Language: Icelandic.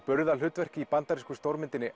burðarhlutverk í bandarísku stórmyndinni